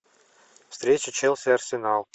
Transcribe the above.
встреча челси арсенал